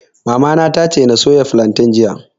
Mamana ta ce na soya filantain jiya